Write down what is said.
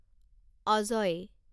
Ajay